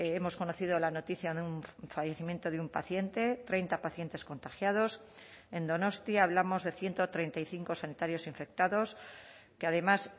hemos conocido la noticia de un fallecimiento de un paciente treinta pacientes contagiados en donostia hablamos de ciento treinta y cinco sanitarios infectados que además